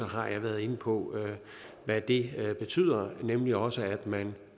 har jeg været inde på hvad det betyder nemlig også at man